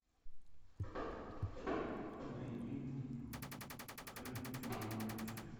найди покажи мне темного рыцаря